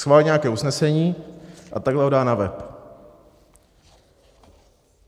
Schválí nějaké usnesení a takhle ho dá na web.